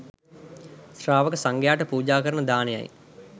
ශ්‍රාවක සංඝයාට පූජා කරන දානයයි.